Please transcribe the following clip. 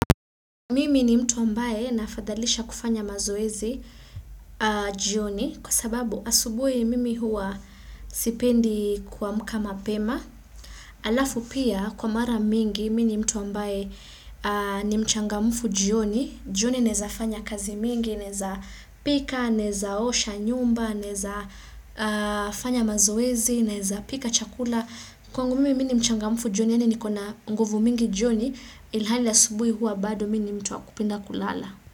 Mimi ni mtu ambaye nafadhalisha kufanya mazoezi jioni kwa sababu asubuhi mimi hua sipendi kuamka mapema alafu pia kwa mara mingi mimi ni mtu ambaye ni mchangamufu jioni jioni naeza fanya kazi mingi, naeza pika, naeza osha nyumba, naeza fanya mazoezi, naeza pika chakula Kwangu mimi ni mchangamfu jioni ene niko na nguvu mingi jioni ilhali asubuhi huwa bado mimi ni mtu wa kupenda kulala.